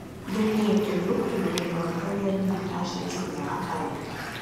gbogbo ètò yòókù ló ń lò gẹgẹ bí a ṣe ti là á kalẹ